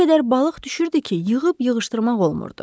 O qədər balıq düşürdü ki, yığıb-yığışdırmaq olmurdu.